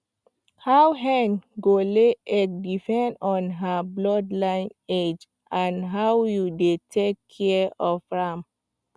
how hen go lay egg depend on her bloodline age and how you dey take care of am